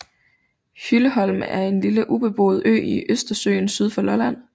Hylleholm er en lille ubeboet ø i Østersøen syd for Lolland